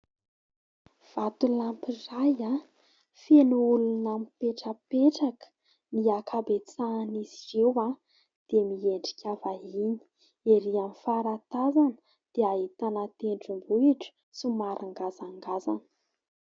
Vatolampy iray feno olona mipetrapetraka, ny ankabetsahan'izy ireo dia miendrika vahiny. Erỳ amin'ny faratazana dia ahitana tendrombohitra somary ngazangazana.